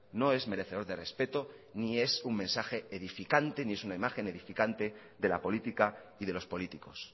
no es merecedor de respeto ni es un mensaje edificante ni es una imagen edificante de la política y de los políticos